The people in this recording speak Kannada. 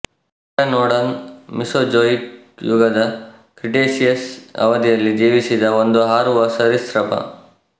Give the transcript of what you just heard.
ಟಿರಾನೊಡಾನ್ ಮೀಸೊಜೋಯಿಕ್ ಯುಗದ ಕ್ರಿಟೇಷಿಯಸ್ ಅವಧಿಯಲ್ಲಿ ಜೀವಿಸಿದ್ದ ಒಂದು ಹಾರುವ ಸರೀಸೃಪ